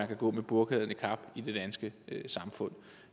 kan gå med burka eller niqab i det danske samfund